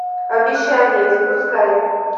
обещание запускай